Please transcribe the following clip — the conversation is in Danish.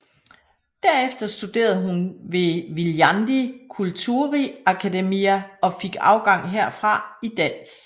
Derfor studerede hun ved Viljandi Kultuuriakadeemia og fik afgang herfra i dans